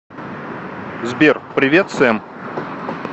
сбер привет сэм